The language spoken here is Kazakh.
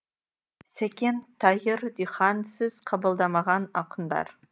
сәкен тайыр дихан сіз қабылдамаған ақындар